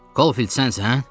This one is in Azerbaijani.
Holdfield, sənsən?